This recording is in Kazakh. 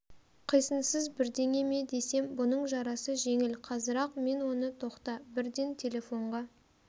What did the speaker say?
қисынсыз бірдеңе ме десем бұның жарасы жеңіл қазір-ақ мен оны тоқта бірден телефонға